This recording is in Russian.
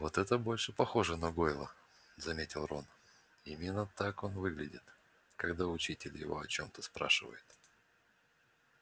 вот это больше похоже на гойла заметил рон именно так он выглядит когда учитель его о чём-то спрашивает